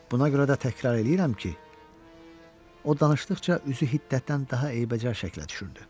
Buna görə də təkrar eləyirəm ki, o danışdıqca üzü hiddətdən daha eybəcər şəklə düşürdü.